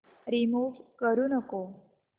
remove करू नको